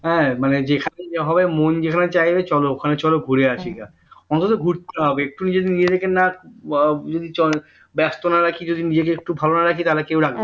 হ্যাঁ মানে যেখানে যা হবে মন যেখানে চাইবে চলো ওখানে চলো ঘুরে আসিগা অন্তত ঘুরতে হবে একটু নিজে নিজেদেরকে না ব্যস্ত না রাখি যদি নিজেকে একটু ভালো না রাখি তা হলে কেউ রাখবে না